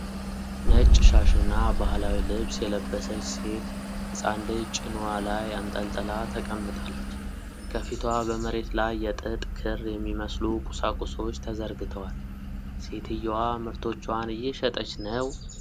ነጭ ሻሽና ባህላዊ ልብስ የለበሰች ሴት ሕፃን ልጅ ጭንዋ ላይ አንጠልጥላ ተቀምጣለች። ከፊቷ በመሬት ላይ የጥጥ ክር የሚመስሉ ቁሳቁሶች ተዘርግተዋል። ሴትየዋ ምርቶቿን እየሸጠች ነው?